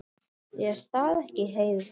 Er það ekki, Heiða?